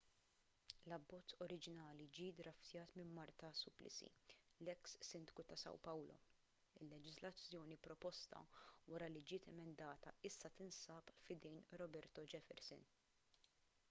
l-abbozz oriġinali ġie ddraftjat minn marta suplicy l-eks sindku ta' são paulo. il-leġiżlazzjoni proposta wara li ġiet emendata issa tinsab f'idejn roberto jefferson